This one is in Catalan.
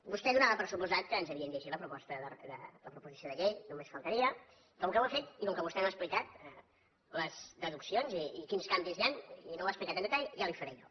vostè donava per descomptat que ens havíem llegit la proposició de llei només faltaria i com que ho ha fet i com que vostè no ha explicat les deduccions i quins canvis hi han i no ho ha explicat amb detall ja li ho faré jo